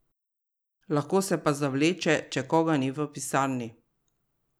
Lahko se pa zavleče, če koga ni v pisarni.